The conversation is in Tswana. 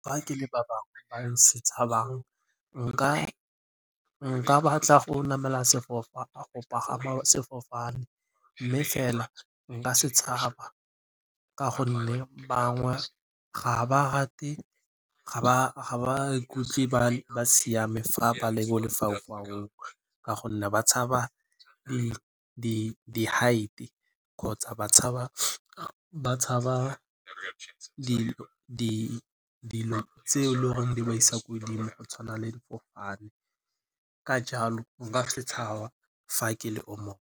Fa ke le ba bangwe ba se tshabang nka batla go pagama sefofane mme fela nka se tshaba ka gonne bangwe ga ba rate ga ba ikutlwe ba siame fa ba le mo lefaufaung ka gonne ba tshaba di heights kgotsa ba tshaba dilo tseo le goreng di ba isa ko godimo go tshwana le difofane. Ka jalo nka se tshaba fa ke le o mongwe.